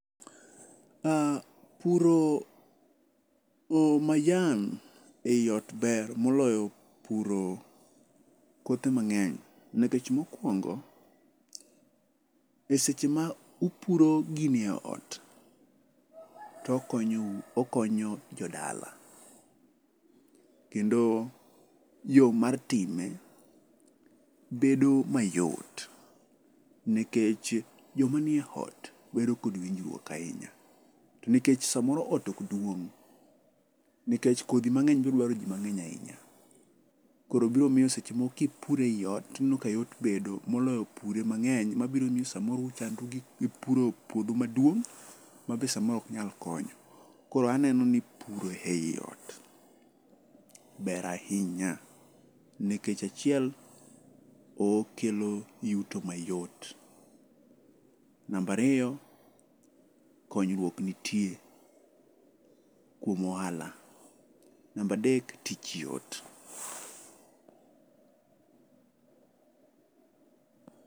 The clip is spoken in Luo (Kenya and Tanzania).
Puro majan ei ot ber moloyo puro kothe mangeny nikech mokuongo, eseche ma ipuro gini e ot tokonyo u, okonyo jodala, kendo yo mar time bedo mayot nikech joma nie ot bedo kod winjruok ahinya to nikech samoro ot ok duong ,nikech kodhi mangeny biro dwaro jima mangeny ahinya .Koro biro miyo seche moko kipuro eot ibiro neno ka yot bedo moloyo pure mangeny mabiro ni samoro ichandri gi puro puodho maduong mabe samoro ok nyal konyo . Koro aneno ni puro ei ot ber ahinya nikech achiel, okelo yuto mayot, namba ariyo konyruok nitie kuom ohala ,namba adek tich yot